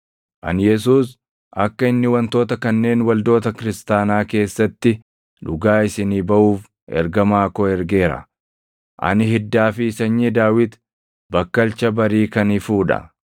“Ani Yesuus, akka inni wantoota kanneen waldoota kiristaanaa keessatti dhugaa isinii baʼuuf ergamaa koo ergeera. Ani Hiddaa fi Sanyii Daawit, Bakkalcha Barii kan ifuu dha.”